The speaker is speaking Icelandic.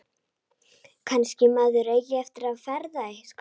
Kannski maður eigi eftir að feðra eitthvað.